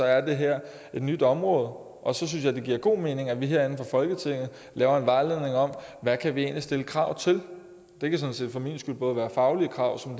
er det her et nyt område så synes jeg det giver god mening at vi herinde fra folketinget laver en vejledning om hvad vi kan stille krav til det kan sådan set for min skyld både være faglige krav som